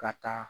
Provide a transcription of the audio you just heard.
Ka taa